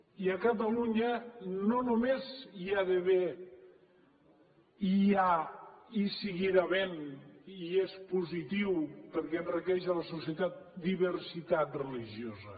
i a catalunya no només hi ha d’haver hi ha i hi seguirà havent i és positiu perquè enriqueix la societat diversitat religiosa